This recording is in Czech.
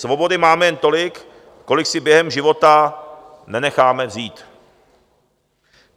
Svobody máme jen tolik, kolik si během života nenecháme vzít.